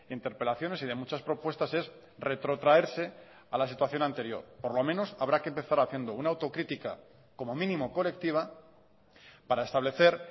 interpelaciones y de muchas propuestas es retrotraerse a la situación anterior por lo menos habrá que empezar haciendo una autocrítica como mínimo colectiva para establecer